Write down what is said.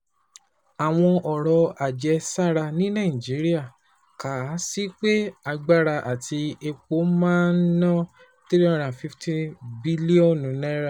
Àwọn ọ̀rọ̀ àjẹsára ní Nàìjíríà kà á sí pé agbára àti epo máa ná three hundred and fifty bílíọ̀nù naira